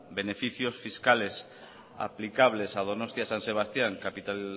beneficios fiscales aplicables a donostia san sebastián capital